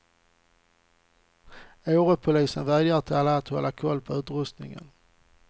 Årepolisen vädjar till alla att hålla koll på utrustningen.